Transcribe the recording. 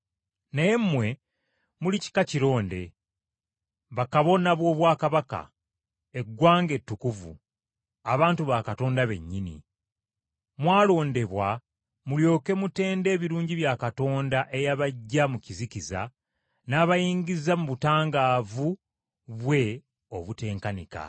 Naye mwe muli kika kironde, bakabona bw’obwakabaka, eggwanga ettukuvu, abantu ba Katonda bennyini. Mwalondebwa mulyoke mutende ebirungi bya Katonda eyabaggya mu kizikiza n’abayingiza mu butangaavu bwe obutenkanika.